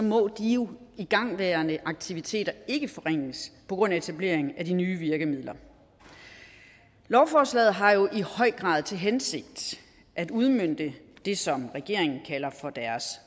må de igangværende aktiviteter jo ikke forringes på grund af etablering af de nye virkemidler lovforslaget har jo i høj grad til hensigt at udmønte det som regeringen kalder for deres